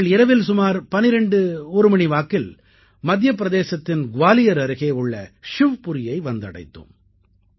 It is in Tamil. நாங்கள் இரவில் சுமார் 121 மணி வாக்கில் மத்தியப்பிரதேசத்தின் குவாலியர் அருகே உள்ள ஷிவ்புரியை வந்தடைந்தோம்